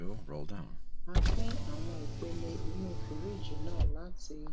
a pín àwọn ìpele inú fìríìjì náà láti